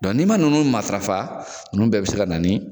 Dɔn n'i man ninnu matarafa ninnu bɛɛ bɛ se ka na ni